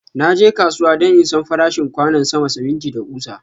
Na je kasuwa don in San farashin kwanon sama, siminti, da kusa.